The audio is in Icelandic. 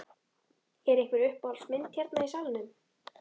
Er einhver uppáhalds mynd hérna í salnum?